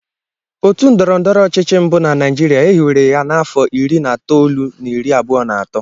Otu ndọrọndọrọ ọchịchị mbụ na Naijiria e hiwere ya n'afọ iri na itoolu na iri abụọ na atọ